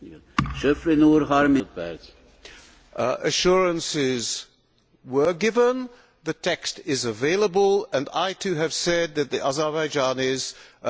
Assurances were given, the text is available and I, too, have said that the Azerbaijanis effectively did not act in the spirit of the Convention.